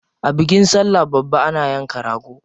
A bikin sallah babba ana yanka rago.